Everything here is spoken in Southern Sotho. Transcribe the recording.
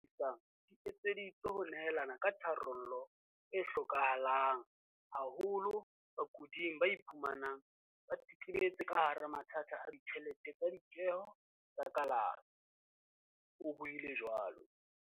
"Dihlomathiso tseo re di tlisang di etseditswe ho nehelana ka tharollo e hloka halang haholo bakuding ba iphumanang ba tetebetse ka hara mathata a ditjhelete tsa ditjeho tsa kalafi," o buile jwalo.